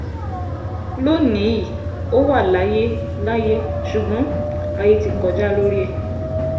lónì-ín ò wà láyé láyé ṣùgbọ́n ayé ti kọjá lórí ẹ̀